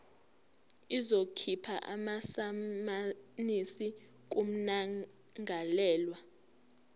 izokhipha amasamanisi kummangalelwa